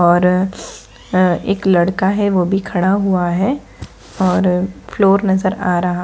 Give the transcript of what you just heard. और एक लड़का है वो भी खड़ा हुआ है और फ्लोर नजर आ रहा --